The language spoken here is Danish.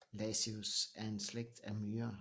Lasius er en slægt af myrer